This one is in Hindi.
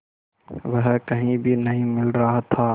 वह कहीं भी नहीं मिल रहा था